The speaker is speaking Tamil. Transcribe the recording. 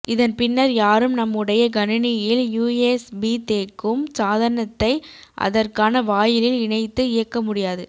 இதன்பின்னர் யாரும் நம்முடைய கணினியில்யூஎஸ்பி தேக்கும் சாதனத்தை அதற்கான வாயிலில் இணைத்து இயக்கமுடியாது